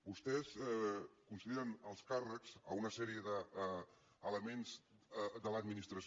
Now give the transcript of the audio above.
vostès consideren alts càrrecs una sèrie d’elements de l’administració